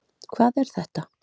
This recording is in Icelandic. Hvað er þetta